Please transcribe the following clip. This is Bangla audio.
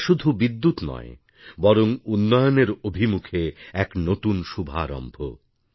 এটা শুধু বিদ্যুৎ নয় বরং উন্নয়নের অভিমুখে এক নতুন শুভারম্ভ